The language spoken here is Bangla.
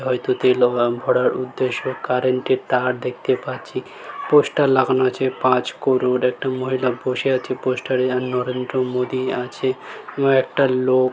হয়তো তেল উম ভরার উদ্দেশ্য কারেন্ট -এর তার দেখতে পাচ্ছি | পোস্টার লাগানো আছে পাঁচ করোর একটা মহিলা বসে আছে পোস্টার -এ আর নরেন্দ্র মোদি আছে | এবং একটা লোক--